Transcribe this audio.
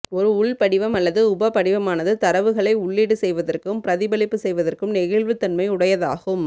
ஒரு உள்படிவம் அல்லது உபபடிவமானது தரவுகளை உள்ளீடு செய்வதற்கும் பிரதிபலிப்பு செய்வதற்கும் நெகிழ்வுதன்மையுடையதாகும்